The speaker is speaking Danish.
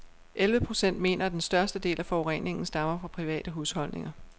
Elleve procent mener, at den største del af forureningen stammer fra private husholdninger.